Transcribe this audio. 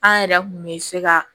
An yɛrɛ kun bɛ se ka